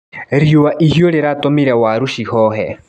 Riũa ihiũ rĩratũmire waru cihohe.